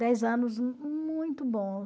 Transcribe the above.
Dez anos muito bom